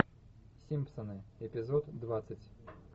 симпсоны эпизод двадцать